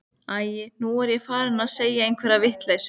Æi, nú er ég farin að segja einhverja vitleysu.